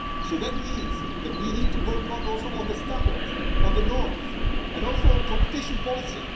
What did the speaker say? So that means that we need to work also on the standards, on the norms, and also on competition policy.